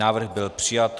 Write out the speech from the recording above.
Návrh byl přijat.